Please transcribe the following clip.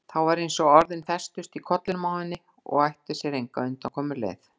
Þá var eins og orðin festust í kollinum á henni og ættu sér enga undankomuleið.